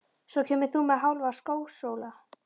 Svo kemur þú með Hálfa skósóla.